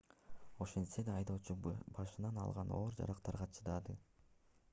ошентсе да айдоочу башынан алган оор жаракаттарга чыдады